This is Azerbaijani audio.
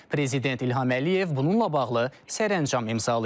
Prezident İlham Əliyev bununla bağlı sərəncam imzalayıb.